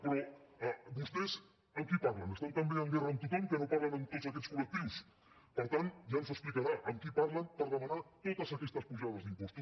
però vostès amb qui parlen estan també en guerra amb tothom que no parlen amb tots aquests col·lectius per tant ja ens ho explicarà amb qui parlen per demanar totes aquestes pujades d’impostos